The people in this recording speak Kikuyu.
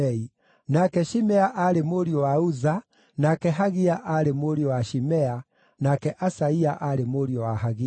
nake Shimea aarĩ mũriũ wa Uza, nake Hagia aarĩ mũriũ wa Shimea, nake Asaia aarĩ mũriũ wa Hagia.